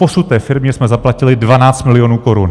Doposud té firmě jsme zaplatili 12 milionů korun.